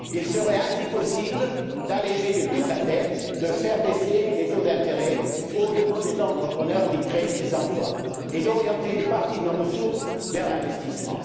Il serait ainsi possible d'alléger le coût de la dette, de faire baisser les taux d'intérêt pour les entrepreneurs qui créent des emplois et d'orienter une partie de nos ressources vers l'investissement.